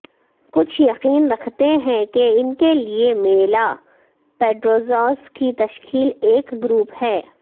کچھ یقین رکھتے ہیں کہ ان کے لئے میلا پیٹرروززا کی تشکیل ایک گروپ ہے